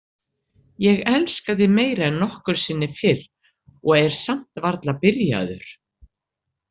Ég elska þig meira en nokkru sinni fyrr og er samt varla byrjaður.